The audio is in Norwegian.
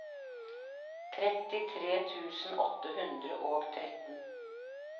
trettitre tusen åtte hundre og tretten